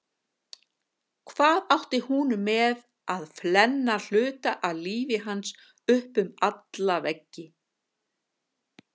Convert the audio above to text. Hvað átti hún með að flenna hluta af lífi hans upp um alla veggi?